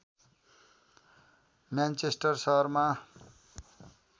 Manchester सहरमा